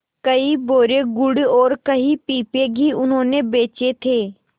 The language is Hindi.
कई बोरे गुड़ और कई पीपे घी उन्होंने बेचे थे